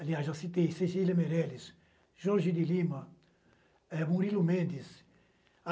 Aliás, eu citei Cecília Meirelles, Jorge de Lima, Murilo Mendes.